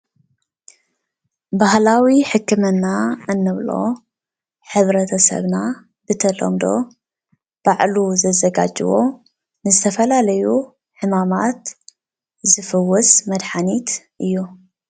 ባህላዊ ሕክምና እንብሎ ሕብረተሰብና ብተለምዶ ባዕሉ ዘዘጋጀዎ ንዝተፈላለዩ ሕማማት ዝፍውስ መድሓኒት እዩ።